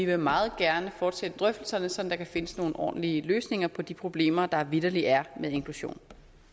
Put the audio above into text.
vil meget gerne fortsætte drøftelserne så der kan findes nogle ordentlige løsninger på de problemer der vitterlig er med inklusion